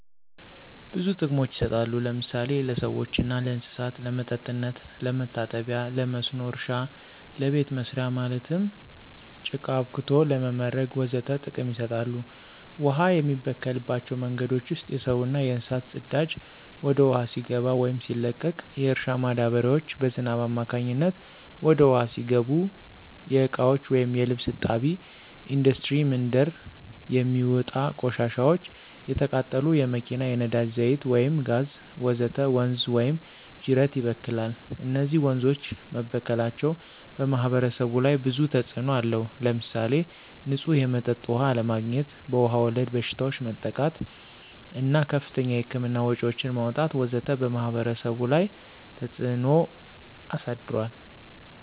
ብዙ ጥቅሞች ይሰጣሉ ለምሳሌ ለሰዎችና ለእንሰሳት ለመጠጥነት፣ ለመታጠቢ ለመስኖ እረሻ ለቤተ መሰሪያ ማለትም ለቃ አብክቶ ለመምረግ ወዘተ ጥቅም ይሰጣሉ። ውሃ የሚበከልባቸው መንገዶች ውስጥ የሰውና የእንስሳት ፅዳጂ ወደ ውሃው ሲገባ ወይም ሲለቀቅ፣ የእርሻ ማዳበሪያዎች በዝናብ አማካኝነት ወደ ውሃው ሲገቡ፣ የእቃዎች ወይም የልብስ እጣቢ፣ እንዱስትሪ ምንድር የሚውጥ ቆሻሻዎች፣ የተቃጠሉ የመኪና የነዳጂ ዛይት ወይም ጋዝ ወዘተ ወንዝ ወይም ጂረት ይበክላል። እነዚህ ወንዞች መበከላቸው በማህበረሰቡ ላይ ብዙ ተጽእኖ አለው። ለምሳሌ ንፁህ የመጠጥ ውሃ አለማግኝት፣ በዉሃ ወለድ በሽታዎች መጠቃት እና ከፍተኛ የህክምና ወጭዎችን ማውጣት ወዘተ በማህበረሰቡ ላይ ተፀ ተጽዕኖ አሳድሯል።